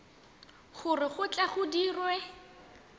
gore go tle go dirwe